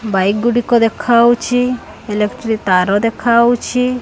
Bike ଗୁଡ଼ିକ ଦେଖାଉଛି ଏଲେକ୍ଟ୍ରୀ ତାର ଦେଖାଉଛି।